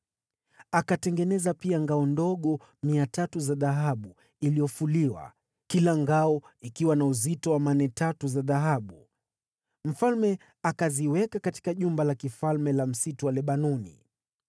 Akatengeneza pia ngao ndogo 300 za dhahabu iliyofuliwa, kila ngao ikiwa na uzito wa mane tatu za dhahabu. Mfalme akaziweka katika Jumba la Kifalme la Msitu wa Lebanoni.